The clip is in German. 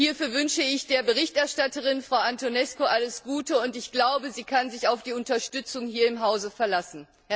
Hierfür wünsche ich der Berichterstatterin, Frau Antonescu, alles Gute, und ich glaube, sie kann sich auf die Unterstützung hier im Hause verlassen.